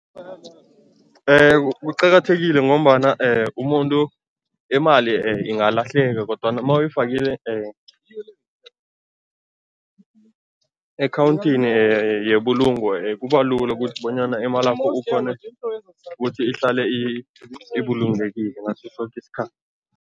Kuqakathekile ngombana umuntu imali ingalahleka kodwana mawuyifakile ekhawunthini yebulungo kuba lula kubalula ukuthi bonyana imalakho ukghone ibulungekile ngaso soke